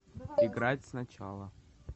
играть сначала